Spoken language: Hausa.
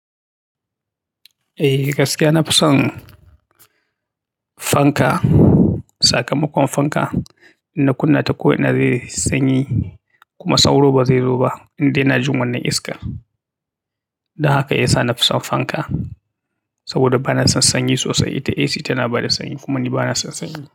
Eh gaskiya na fi son fanka, sakamakon fanka in na kunna ta ko ina zai yi sanyi, kuma sauro ba zai zo ba, in dai yana jin wannan iska. Don haka ya sa na fi son fanka. Saboda ba na son sanyi sosai. Ita AC tana ba da sanyi, kuma ni ba na son sanyi.